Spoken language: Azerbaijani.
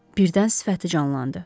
Birdən sifəti canlandı.